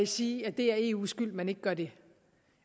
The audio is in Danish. sige at det er eus skyld at man ikke gør det